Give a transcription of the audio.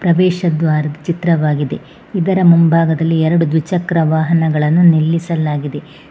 ಪ್ರವೇಶ ದ್ವಾರದ ಚಿತ್ರವಾಗಿದೆ ಇದರ ಮುಂಭಾಗದಲ್ಲಿ ಎರಡು ದ್ವಿಚಕ್ರ ವಾಹನಗಳನ್ನು ನಿಲ್ಲಿಸಲಾಗಿದೆ.